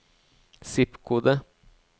zip-kode